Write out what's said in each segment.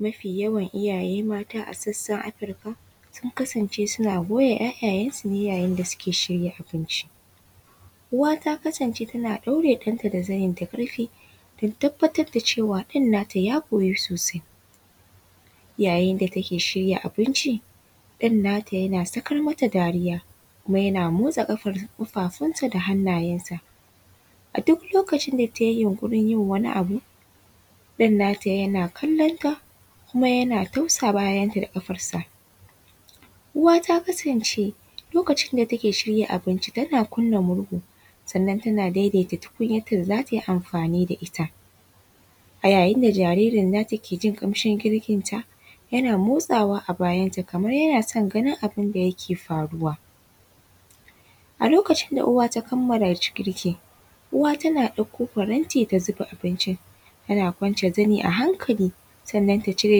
Mafi yawan iyaye mata a sassan Afrika sun kasance suna goya ‘ya’yayansu yayin da suke shirya abinci uwa ta kasance tana ɗaure ɗanta da zani da karfi ta tabbatar da cewa ɗan nata ya goyi sosai yayin da take shirya abinci ɗan nata yana sakar mata dariya kuma motsa kafafunsa da hannayensa a duk lokacin da tayi yunkurin wani abu ɗan nata yana kallanta kuma yana tausa bayanta da kafarsa, uwa ta kasance lokacin da take shirya abinci tana kunna murhu sannan tana daidaita tukunyanta da zata yi amfani da ita, a yayin da jaririnta yake jin kamshin girkinta yana motsawa a bayanta kamar yana son ganin abunda ke faruwa, a lokacin da uwa ta kamala girkin uwa tana ɗakko faranti ta zuba abincin ana kwance zani a hankali sannan ta cire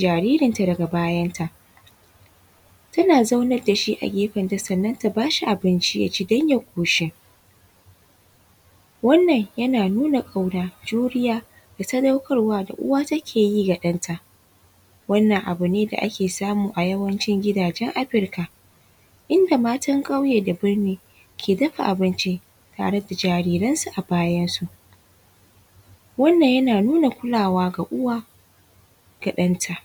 jaririnta daga bayanta tana zaunan da shi a gefenta sannan ta bashi abinci dan ya koshi, wannan yana nuna kauna, juriya da sadaukarwa da uwa take yi wa ɗanta, wannan abu ne da ake samu a yawancin gidajen Afrika inda matar kauye da burni ke dafa abinci tare da jariranta a bayansu, wannan yana nuna kulawa ga uwa ga ɗanta.